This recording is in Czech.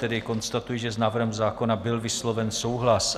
Tedy konstatuji, že s návrhem zákona byl vysloven souhlas.